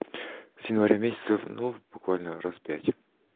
с января месяца ну буквально раз пять